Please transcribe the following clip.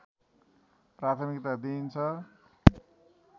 प्राथिमकता दिइन्छ